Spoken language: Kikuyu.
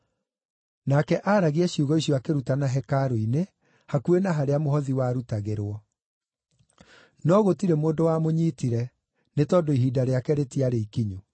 Nake aaragia ciugo icio akĩrutana hekarũ-inĩ hakuhĩ na harĩa mũhothi warutagĩrwo. No gũtirĩ mũndũ wamũnyiitire nĩ tondũ ihinda rĩake rĩtiarĩ ikinyu.